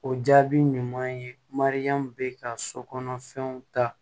O jaabi ɲuman ye mariyamu bɛ ka sokɔnɔ fɛnw ta